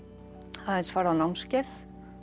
aðeins farið á námskeið